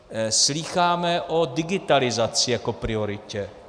Slýcháme o digitalizaci jako prioritě.